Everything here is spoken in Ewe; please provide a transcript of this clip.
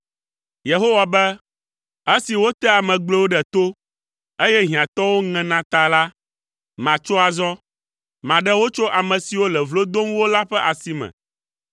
Yehowa be, “Esi wotea ame gblɔewo ɖe to, eye hiãtɔwo ŋena ta la, matso azɔ. Maɖe wo tso ame siwo le vlo dom wo la ƒe asi me.”